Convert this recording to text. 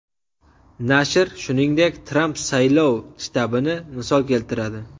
Nashr, shuningdek, Tramp saylov shtabini misol keltiradi.